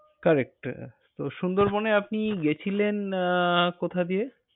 Correct । তো সুন্দরবন এ আপনি গেছিলেন আহ কোথা দিয়ে?